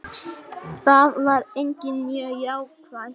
Það var einnig mjög jákvætt